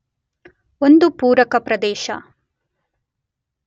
ಒಂದು ಪೂರಕ ಪ್ರದೇಶ